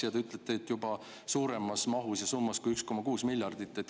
Ja te ütlesite, et juba suuremas mahus ja summas kui 1,6 miljardit.